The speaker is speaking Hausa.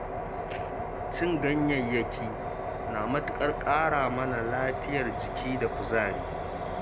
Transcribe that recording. Cin ganyayyaki na matuƙar ƙara mana lafiyar jiki da kuzari.